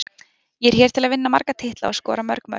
Ég er hér til að vinna marga titla og skora mörg mörk.